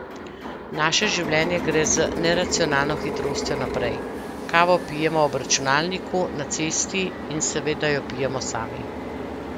Naše življenje gre z neracionalno hitrostjo naprej, kavo pijemo ob računalniku, na cesti in seveda jo pijemo sami.